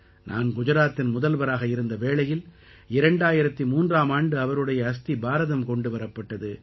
நான் குஜராத்தின் முதல்வராக இருந்த வேளையில் 2003ஆம் ஆண்டு அவருடைய அஸ்தி பாரதம் கொண்டு வரப்பட்டது